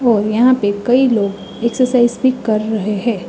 और यहाँ पर कई लोग एक्सरसाइज भी कर रहे हैं।